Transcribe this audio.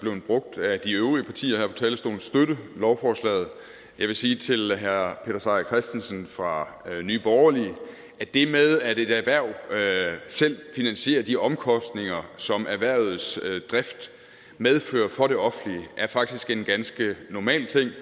blevet brugt af de øvrige partier her fra talerstolen støtte lovforslaget jeg vil sige til herre peter seier christensen fra nye borgerlige at det med at et erhverv selv finansierer de omkostninger som erhvervets drift medfører for det offentlige faktisk er en ganske normal ting